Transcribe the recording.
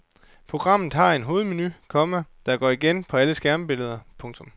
Programmet har en hovedmenu, komma der går igen på alle skærmbilleder. punktum